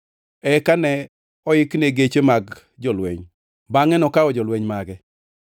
Eka ne oikne geche mar jolweny, bangʼe nokawo jolweny mage.